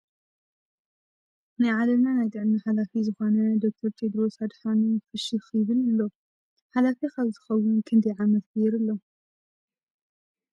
ናይ ዕለምና ናይ ጥዕና ሓላፊ ዝኮነ ዶክተር ቴድሮስ ኣድሓኖም ፍሽክ ይብል ኣሎ ። ሓላፊ ካብ ዝከውን ክንደይ ዕመት ገይሩ ኣሎ ?